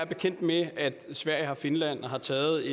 bekendt med at sverige og finland har taget